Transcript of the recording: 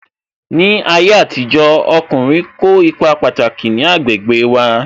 Ní ayé àtijó, ọkùnrin kó ipa pataki ní agbègbè wa